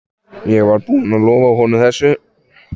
Ég var búinn að lofa honum þessu.